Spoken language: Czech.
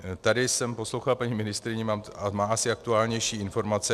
Tady jsem poslouchal paní ministryni, má asi aktuálnější informace.